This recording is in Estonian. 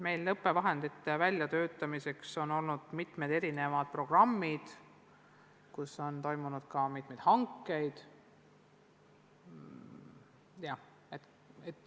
Meil on õppevahendite väljatöötamiseks olnud mitmeid erinevaid programme ja on ka mingid hanked toimunud.